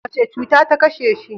Wace cuta ta kashe shi?